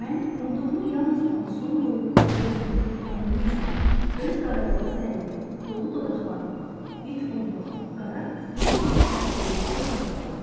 Mən umduğumu yalnız buna son qoyub, özümü, yəni Lizanı, öz qarayannız dərimi, dolu dodaqlarımı, böyük onbamı, qara, buruq saçlarımı sevdikdən sonra aldım.